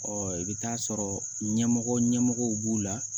Ɔ i bɛ taa sɔrɔ ɲɛmɔgɔ ɲɛmɔgɔw b'o la